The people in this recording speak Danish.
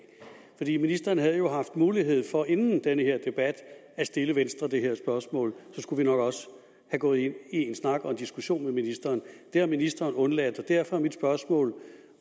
ministeren havde jo haft mulighed for inden denne debat at stille venstre det her spørgsmål og så skulle vi nok også have gået ind i en snak og en diskussion med ministeren det har ministeren undladt og derfor er mit spørgsmål